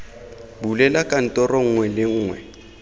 bulela kantoro nngwe le nngwe